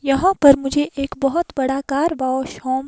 यहां पर मुझे एक बहोत बड़ा कार वॉश होम --